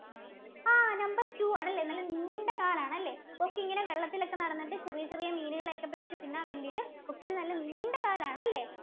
ആഹ് number two ആണല്ലേ നല്ല നീണ്ട കാലാണ് അല്ലെ കൊക്ക് ഇങ്ങനെ വെള്ളത്തിലൊക്കെ നടന്നിട്ട് ചെറിയ ചെറിയ മീനുകളെയൊക്കെ പിടിച്ച തിന്നാൻ വേണ്ടീട്ട കൊക്കിന് നല്ല നീണ്ട കാലാണ് അല്ലേ?